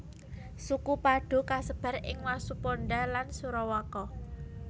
Suku Padoe kasebar ing Wasuponda lan Sorowako